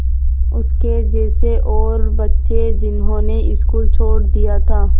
उसके जैसे और बच्चे जिन्होंने स्कूल छोड़ दिया था